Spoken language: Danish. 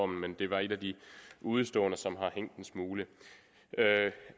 men det var et af de udeståender som har hængt en smule